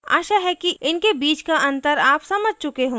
आशा है कि इनके बीच का अंतर आप समझ चुके होंगे